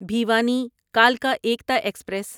بھیوانی کلکا ایکتا ایکسپریس